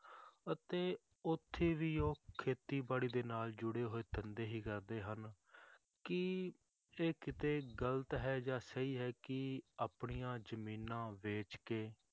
ਅਤੇ ਉੱਥੇ ਵੀ ਉਹ ਖੇਤੀਬਾੜੀ ਦੇ ਨਾਲ ਜੁੜੇ ਹੋਏ ਧੰਦੇ ਹੀ ਕਰਦੇ ਹਨ, ਕੀ ਇਹ ਕਿਤੇ ਗ਼ਲਤ ਹੈ ਜਾਂ ਸਹੀ ਹੈ ਕਿ ਆਪਣੀਆਂ ਜ਼ਮੀਨਾਂ ਵੇਚ ਕੇ